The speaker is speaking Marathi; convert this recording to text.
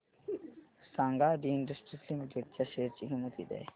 सांगा आदी इंडस्ट्रीज लिमिटेड च्या शेअर ची किंमत किती आहे